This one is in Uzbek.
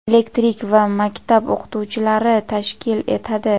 elektrik va maktab o‘qituvchilari tashkil etadi.